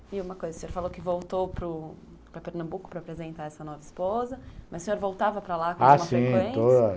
E uma coisa, o senhor falou que voltou para Pernambuco para apresentar essa nova esposa, mas o senhor voltava para lá com alguma frequência?